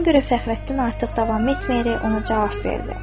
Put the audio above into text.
Buna görə Fəxrəddin artıq davam etməyərək ona cavab verdi.